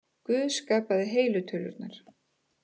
Guð skapaði heilu tölurnar.